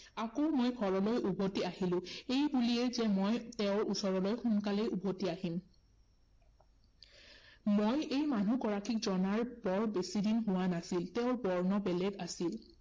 আকৌ মই ঘৰলৈ উভটি আহিলো। এই বুলিয়েই যে মই তেওঁৰ ওচৰলৈ সোনকালেই উভতি আহিম। মই এই মানুহগৰাকীক জনাৰ বৰ বেছি দিন হোৱা নাছিল। তেওঁৰ বৰ্ণ বেলেগ আছিল।